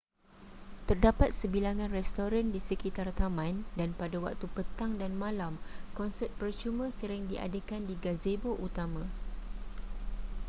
terdapat sebilangan restoran di sekitar taman dan pada waktu petang dan malam konsert percuma sering diadakan di gazebo utama